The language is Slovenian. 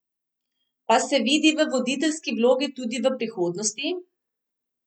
Pa se vidi v voditeljski vlogi tudi v prihodnosti?